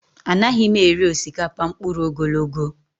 Anaghị m eri osikapa mkpụrụ ogologo